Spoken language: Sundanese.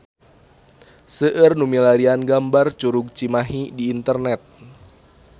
Seueur nu milarian gambar Curug Cimahi di internet